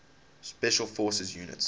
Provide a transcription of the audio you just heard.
special forces units